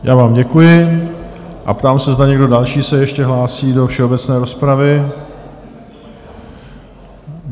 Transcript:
Já vám děkuji a ptám se, zda někdo další se ještě hlásí do všeobecné rozpravy?